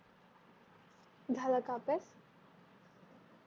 झाला का अभ्यास